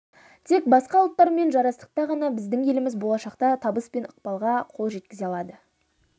тек басқа ұлттармен жарастықта ғана біздің еліміз болашақта табыс пен ықпалға қол жеткізе алады